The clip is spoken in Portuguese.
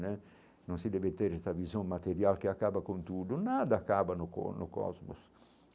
Né não se deve ter esta visão material que acaba com tudo, nada acaba no no cosmos.